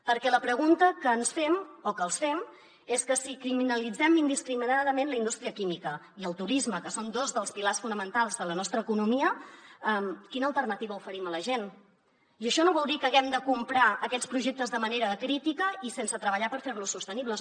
perquè la pregunta que ens fem o que els fem és si criminalitzem indiscriminadament la indústria química i el turisme que són dos dels pilars fonamentals de la nostra economia quina alternativa oferim a la gent i això no vol dir que haguem de comprar aquests projectes de manera acrítica i sense treballar per fer los sostenibles